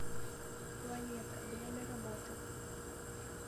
планета время работы